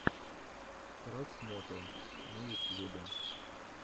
красмото на ютьюбе